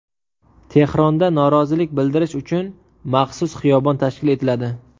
Tehronda norozilik bildirish uchun maxsus xiyobon tashkil etiladi.